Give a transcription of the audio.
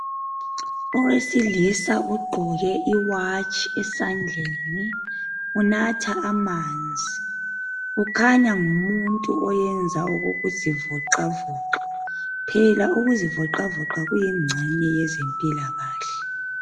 Owesilisa ogqoke iwatshi esandleni unatha amanzi ukhanya ngumuntu oyenza ngokuzivoxavoxa. Phela ukuzivoxavoxa kuyingxenye yezempilakahle.